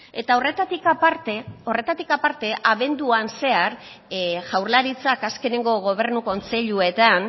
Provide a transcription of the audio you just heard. eta horretatik aparte horretatik aparte abenduan zehar jaurlaritzak azkeneko gobernu kontseiluetan